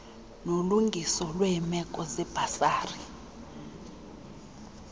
nolungiso lweemeko zebhasari